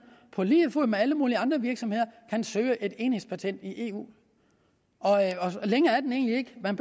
på lige fod med alle mulige andre virksomheder kan søge et enhedspatent i eu længere er den egentlig ikke man